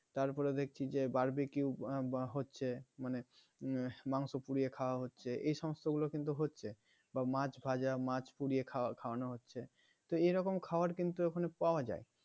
তার পরে দেখছি যে barbeque হচ্ছে মানে মাংস পুড়িয়ে খাওয়া হচ্ছে এই সমস্তগুলো কিন্তু হচ্ছে বা মাছ ভাজা মাছ পুড়িয়ে খাওয়ানো হচ্ছে তো এরকম খাবার কিন্তু ওখানে পাওয়া যায়